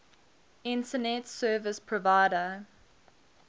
internet service provider